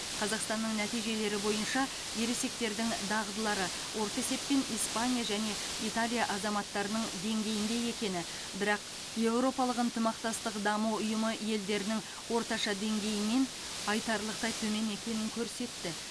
қазақстанның нәтижелері бойынша ересектердің дағдылары орта есеппен испания және италия азаматтарының деңгейінде екені бірақ еуропалық ынтымақтастық даму ұйымы елдерінің орташа деңгейінен айтарлықтай төмен екенін көрсетті